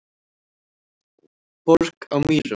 Borg á Mýrum